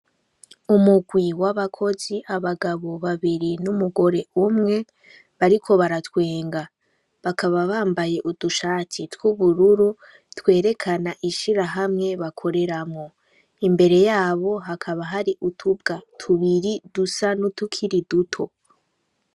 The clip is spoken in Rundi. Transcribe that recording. Umugwi w'abakozi abagabo babiri , n'umugore umwe bariko baratwenga. Bakaba bambaye udushati, tw'ubururu twerekana ishirahamwe bakoreramwo. Imbere yabo hakaba hari utubwa tubiri dusa nutukiri duto.